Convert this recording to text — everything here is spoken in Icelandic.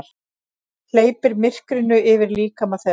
Hleypir myrkrinu yfir líkama þeirra.